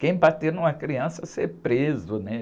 Quem bater numa criança ser preso, né?